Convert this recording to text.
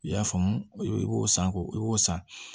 I y'a faamu i b'o san k'o i y'o san